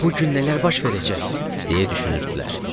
Bu gün nələr baş verəcək deyə düşünürdülər.